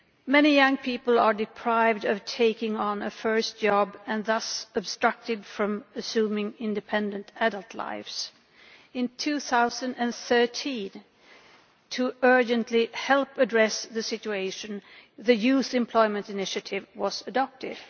Many young people are deprived of taking on a first job and are thus obstructed from assuming independent adult lives. In 2013, to urgently help address the situation, the Youth Employment Initiative was adopted.